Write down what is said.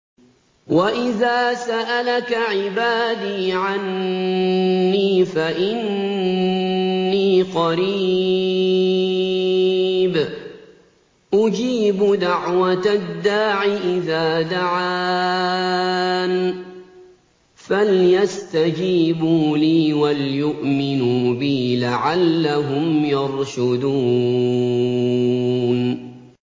وَإِذَا سَأَلَكَ عِبَادِي عَنِّي فَإِنِّي قَرِيبٌ ۖ أُجِيبُ دَعْوَةَ الدَّاعِ إِذَا دَعَانِ ۖ فَلْيَسْتَجِيبُوا لِي وَلْيُؤْمِنُوا بِي لَعَلَّهُمْ يَرْشُدُونَ